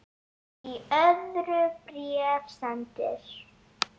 Í öðru bréfi sendur